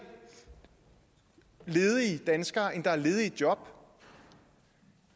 ledige danskere end der er ledige job